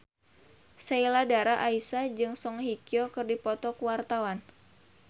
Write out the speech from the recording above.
Sheila Dara Aisha jeung Song Hye Kyo keur dipoto ku wartawan